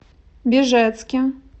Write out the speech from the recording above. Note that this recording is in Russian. бежецке